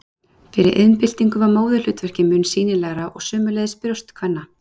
Fyrir iðnbyltingu var móðurhlutverkið mun sýnilegra og sömuleiðis brjóst kvenna.